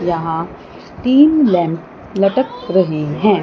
यहां तीन लैंप लटक रहे हैं।